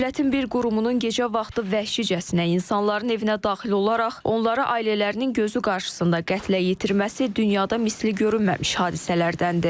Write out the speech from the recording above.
Dövlətin bir qurumunun gecə vaxtı vəhşicəsinə insanların evinə daxil olaraq onları ailələrinin gözü qarşısında qətlə yetirməsi dünyada misli görünməmiş hadisələrdəndir.